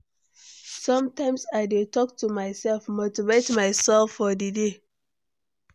Sometimes I dey talk to myself, motivate myself for the day.